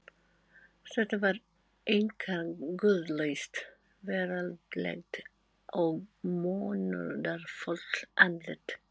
Þetta var einkar guðlaust, veraldlegt og munúðarfullt andlit.